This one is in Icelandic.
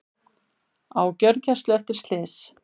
Á gjörgæslu eftir slys